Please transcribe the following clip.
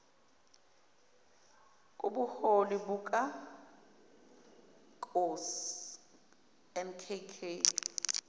kobuholi buka nkk